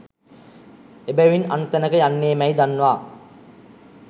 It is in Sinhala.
එබැවින් අන් තැනක යන්නේ මැයි දන්වා